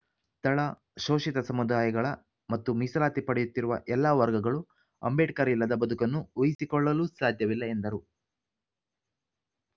ತಳ ಶೋಷಿತ ಸಮುದಾಯಗಳ ಮತ್ತು ಮೀಸಲಾತಿ ಪಡೆಯುತ್ತಿರುವ ಎಲ್ಲ ವರ್ಗಗಳು ಅಂಬೇಡ್ಕರ್‌ ಇಲ್ಲದ ಬದುಕನ್ನು ಊಹಿಸಿಕೊಳ್ಳು ಸಾಧ್ಯವಿಲ್ಲ ಎಂದರು